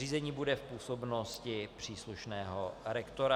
Řízení bude v působnosti příslušného rektora.